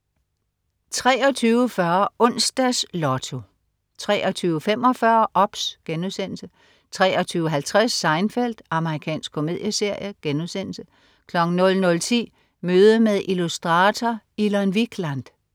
23.40 Onsdags Lotto 23.45 OBS* 23.50 Seinfeld. Amerikansk komedieserie* 00.10 Møde med illustrator Ilon Wikland